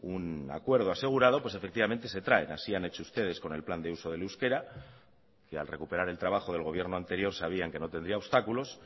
un acuerdo asegurado pues efectivamente se traen así han hecho ustedes con el plan de uso del euskera que al recuperar el trabajo del gobierno anterior sabían que no tendría obstáculos